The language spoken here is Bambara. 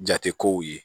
Jate kow ye